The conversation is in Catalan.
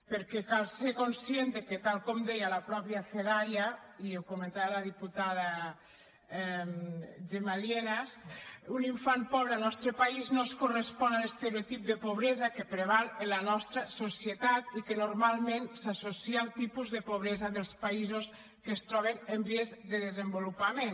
perquè cal ser conscient que tal com deia la mateixa fedaia i ho comentava la diputada gemma lienas un infant pobre al nostre país no es correspon a l’estereotip de pobresa que preval en la nostra societat i que normalment s’associa al tipus de pobresa dels països que es troben en vies de desenvolupament